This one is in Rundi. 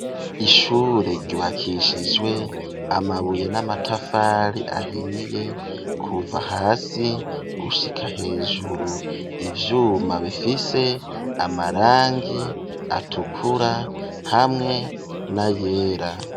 Ishure ryubakishijwe amabuye n'amatafari ahiye kuva hasi gushika hejuru, ivyuma bifise amarangi atukura hamwe na yera.